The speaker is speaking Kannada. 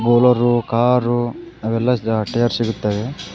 ಬೋಲರು ಕಾರು ಅವೆಲ್ಲಾ ದ ಟಯರ್ ಸಿಗುತ್ತವೆ.